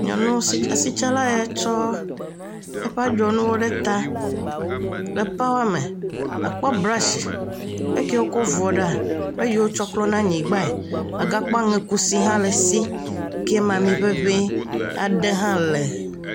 Nyɔnu asitsala ye tsɔ eƒe adzɔnuwo ɖe ta, àkpɔ bratsi, ekie wòkɔ vuɔ ɖa, eyi wotsɔ klɔna anyigbae, àgakpɔ aŋekusi hã le esi, ke me amiŋeŋe aɖe hã le.